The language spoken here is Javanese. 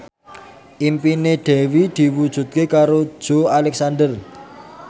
impine Dewi diwujudke karo Joey Alexander